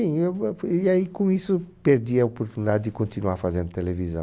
eu eu fui, e aí com isso perdi a oportunidade de continuar fazendo televisão.